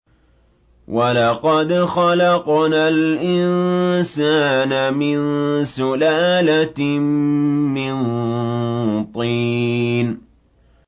وَلَقَدْ خَلَقْنَا الْإِنسَانَ مِن سُلَالَةٍ مِّن طِينٍ